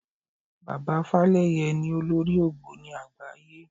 Bàbá Fálẹ́yẹ ni olórí ògbóni àgbáyé.